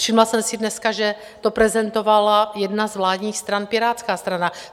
Všimla jsem si dneska, že to prezentovala jedna z vládních stran, Pirátská strana.